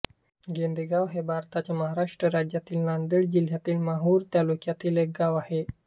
गोंदेगाव हे भारताच्या महाराष्ट्र राज्यातील नांदेड जिल्ह्यातील माहूर तालुक्यातील एक गाव आहे